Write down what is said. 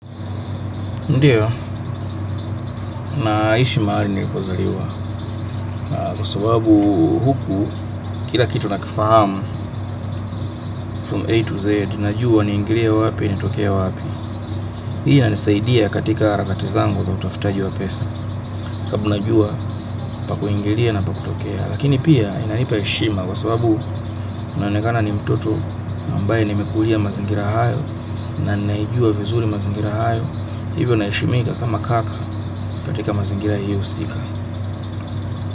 Ndio, naishi mahali nilipozaliwa kwa sababu huku, kila kitu nakifahamu from A to Z najua niingilie wapi, nitokee wapi hii inanisaidia katika harakati zangu za utafutaji wa pesa. Kabu najua pakuingilia na pakutokea lakini pia inanipa heshima kwa sababu naonekana ni mtoto ambaye nimekulia mazingira hayo na ninaijua vizuri mazingira hayo hivyo naheshimika kama kaka katika mazingira hiyo husika.